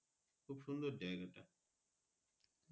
খুব সুন্দর যাইগা টা